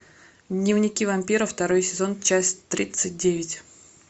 дневники вампира второй сезон часть тридцать девять